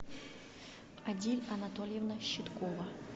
адиль анатольевна щеткова